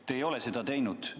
Te ei ole seda teinud.